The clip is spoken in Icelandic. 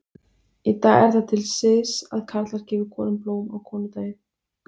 Í dag er það til siðs að karlar gefi konum blóm á konudaginn.